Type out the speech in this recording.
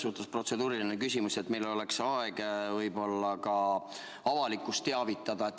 Mul on protseduuriline küsimus selle kohta, et meil oleks aeg võib-olla ka avalikkust teavitada.